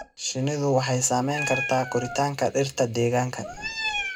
Shinnidu waxay saamayn kartaa koritaanka dhirta deegaanka.